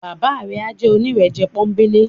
Baba rẹ a jẹ onírẹ̀jẹ̀ ponbele.